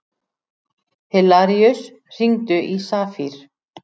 Hilaríus, hringdu í Safír.